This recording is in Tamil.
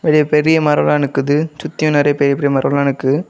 பெரிய பெரிய மரம்லாம் நிக்குது சுத்தியும் நறைய பெரிய பெரிய மரம்லாம் நிக்குது.